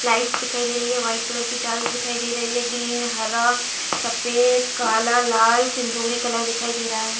Lights दिखाई दे रही है व्हाइट कलर की बल्ब्स दिखाई दे रही है ग्रीन हरा सफ़ेद काला लाल सिंदूरी कलर दिखाई दे रहा है।